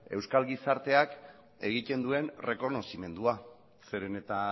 euskal gizarteak egiten duen errekonozimendua zeren eta